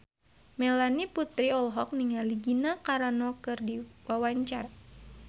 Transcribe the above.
Melanie Putri olohok ningali Gina Carano keur diwawancara